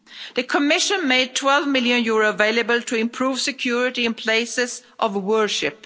The Commission made EUR 12 million available to improve security in places of worship.